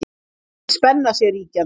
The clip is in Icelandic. Mikil spenna sé ríkjandi